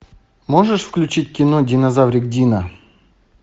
можешь включить кино динозаврик дино